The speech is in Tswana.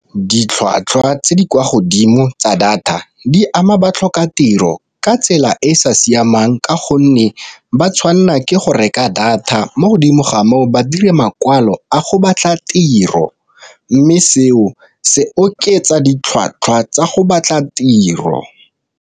Ditlhwatlhwa tse di kwa godimo tsa data di ama ba tlhoka tiro ka tsela e e sa siamang ka gonne ba tshwanela ke go reka data, mo godimo ga moo ba dire makwalo a go batla tiro. Mme seo se oketsa ditlhwatlhwa tsa go batla tiro.